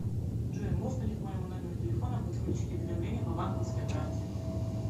джой можно ли к моему номеру телефона подключить уведомления по банковской карте